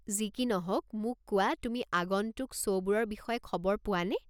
যি কি নহওক, মোক কোৱা তুমি আগন্তুক শ্ব'বোৰৰ বিষয়ে খবৰ পোৱা নে?